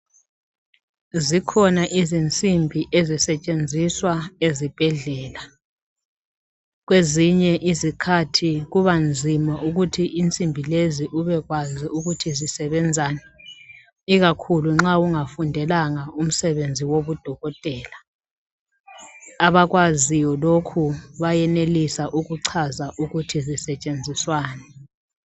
Zikhona izinsimbi ezisetshenziswa ezibhedlela kwezinye izikhathi kubanzima ukuthi insimbi lezi ubekwazi ukuthi zisebenzani ikakhulu nxa ungafundelanga umsebenzi wobudokotela. Abakwaziyo lokhu bayenelisa ukuchaza ukuthi zisetshenziswani.